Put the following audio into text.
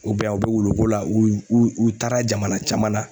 U be yan u be wulukola u u u taara jamana caman na